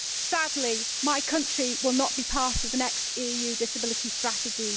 Sadly, my country will not be part of the next EU disability strategy.